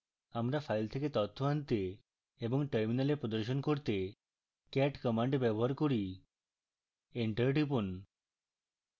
আমরা file থেকে তথ্য আনতে এবং terminal প্রদর্শন করতে cat command ব্যবহার করতে পারি enter টিপুন